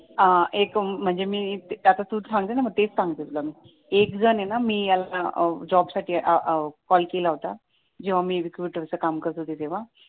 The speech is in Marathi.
हां एक आता तूच सांगितलं ना तेच सांगतेय मी तुला एकजण आहे ना मी जॉबसाठी कॉल केला होता जेव्हा मी रिक्रूटर काम करत होते तेव्हा